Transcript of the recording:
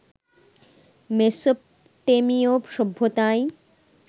মেসোপটেমিয় সভ্যতায়